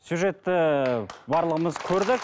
сюжетті барлығымыз көрдік